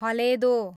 हलेदो